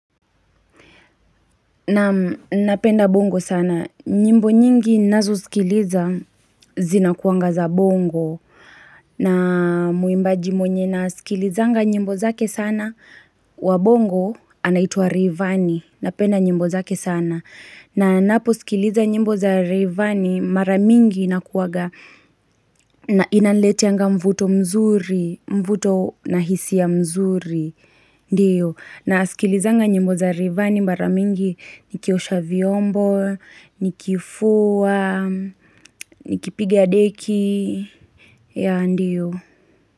Nam napenda bongo sana, nyimbo nyingi ninazouskiliza zinakuanga za bongo na mwimbaji mwenye naskilizanga nyimbo zake sana wa bongo anaitwa reyvanny, napenda nyimbo zake sana na napo uskiliza nyimbo za rayvanny, maramingi inakuanga na inanileteanga mvuto mzuri, mvuto na hisi ya mzuri, ndiyo. Na sikilizanga nyimbo za rayvanny mara mingi nikiosha vyombo, nikifua, nikipigia deki yah ndiyo.